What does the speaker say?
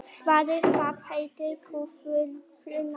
Svali, hvað heitir þú fullu nafni?